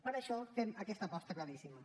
per això fem aquesta aposta claríssima